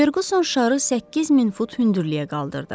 Ferquson şarı 8000 fut hündürliyə qaldırdı.